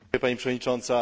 Pani Przewodnicząca!